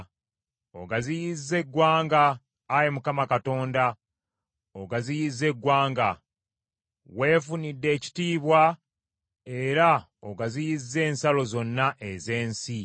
Ogaziyizza eggwanga, Ayi Mukama Katonda ogaziyizza eggwanga. Weefunidde ekitiibwa, era ogaziyizza ensalo zonna ez’ensi.